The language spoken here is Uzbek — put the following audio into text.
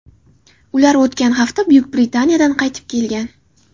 Ular o‘tgan hafta Buyuk Britaniyadan qaytib kelgan.